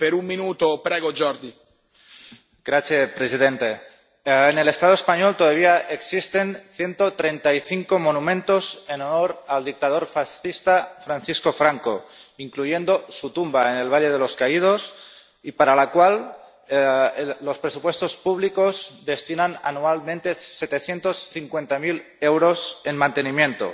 Señor presidente. En el Estado español todavía existen ciento treinta y cinco monumentos en honor al dictador fascista Francisco Franco, incluyendo su tumba en el Valle de los Caídos, y para la cual los presupuestos públicos destinan anualmente setecientos cincuenta mil euros en mantenimiento.